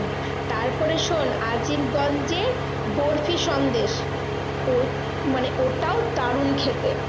তারপরে শোন্ আজিমগঞ্জে বরফি সন্দেশ মানে ওটাও দারুন খেতে।